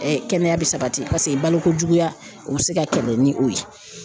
kɛnɛya bi sabati paseke balokojuguya u bɛ se ka kɛlɛ ni o ye.